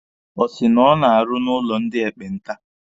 Ọ sị na ọ na-arụ n'ụlọ ndị ekpenta?